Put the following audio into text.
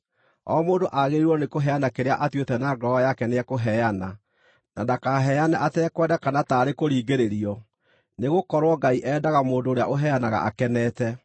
O mũndũ aagĩrĩirwo nĩkũheana kĩrĩa atuĩte na ngoro yake nĩekũheana, na ndakaheane atekwenda kana taarĩ kũringĩrĩrio, nĩgũkorwo Ngai endaga mũndũ ũrĩa ũheanaga akenete.